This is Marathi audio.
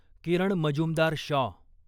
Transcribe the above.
किरण मजुमदार शॉ